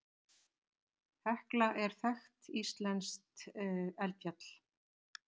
Hekla er þekkt íslenskt eldfjall.